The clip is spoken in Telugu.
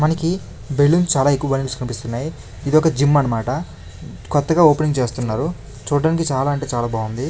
మనకి బెలూన్స్ చాలా ఎక్కువ కనిపిస్తున్నాయి ఇదొక జిమ్ అన్నమాట కొత్తగా ఓపెనింగ్ చేస్తున్నారు చూడ్డానికి చాలా అంటే చాలా బాగుంది.